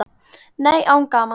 Nei, án gamans.